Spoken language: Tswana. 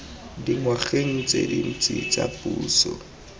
dingwageng tse dintsi tsa puso